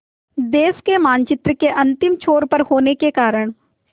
देश के मानचित्र के अंतिम छोर पर होने के कारण